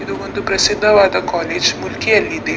ಇದು ಒಂದು ಪ್ರಸಿದ್ದವಾದ ಕಾಲೇಜ್ ಮುಲ್ಕಿಯಲ್ಲಿದೆ.